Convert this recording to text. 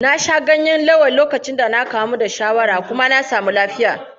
Na sha ganyen ewe lokacin da na kamu da shawara kuma na samu lafiya.